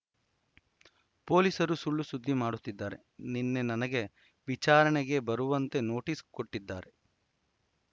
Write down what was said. ಪೊಲೀಸರು ಸುಳ್ಳು ಸುದ್ದಿ ಮಾಡಿಸುತ್ತಿದ್ದಾರೆ ನಿನ್ನೆ ನನಗೆ ವಿಚಾರಣೆಗೆ ಬರುವಂತೆ ನೋಟಿಸ್‌ ಕೊಟ್ಟಿದ್ದಾರೆ